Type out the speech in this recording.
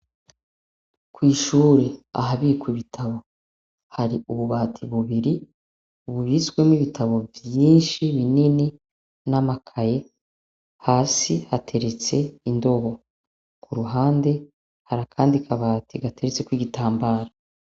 Kw'ishure, ahabikwa ibitabo har'ububati bibiri bubitsemwo ibitabo vyinshi binini nk'amakaye, hasi haterets'indobo. Kuruhande harakandi akabati gaterets'ikibitambara.